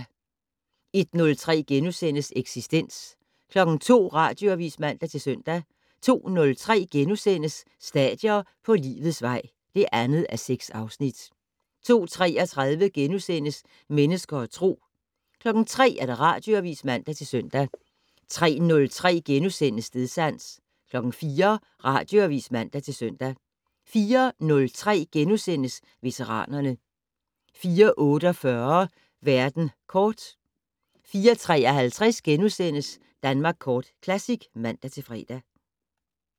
01:03: Eksistens * 02:00: Radioavis (man-søn) 02:03: Stadier på livets vej (2:6)* 02:33: Mennesker og Tro * 03:00: Radioavis (man-søn) 03:03: Stedsans * 04:00: Radioavis (man-søn) 04:03: Veteranerne * 04:48: Verden kort 04:53: Danmark Kort Classic *(man-fre)